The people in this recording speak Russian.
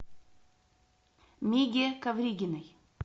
миге ковригиной